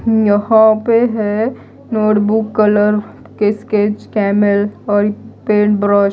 यहां पे है नोटबुक कलर स्केच कैमल और पेन ब्रश --